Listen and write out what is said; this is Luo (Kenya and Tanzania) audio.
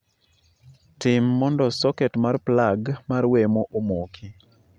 Tim mondo soket mar plag mar wemo omoki